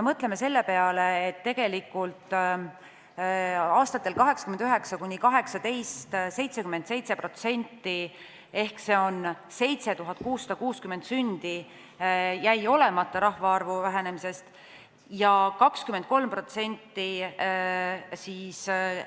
Mõtleme selle peale, et aastatel 1989–2018 77% sündidest, s.o 7660 sündi, jäid olemata rahvaarvu vähenemise tõttu ja 23%